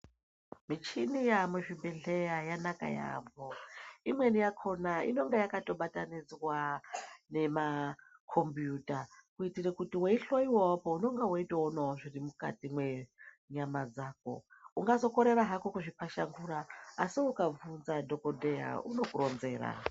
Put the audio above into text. Michini yaamuzvibhedhleya yanaka yaambo imweni yakona inonga yakabatanidzwa nemakombiyuta kuitira kuti weihloyiwao po unenge weitoonao zviri mukati mwenyama dzako ungazokorera hako kuzvipashangura asi ukabvunza dhokodheya unokuronzera.